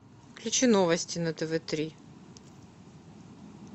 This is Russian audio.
включи новости на тв три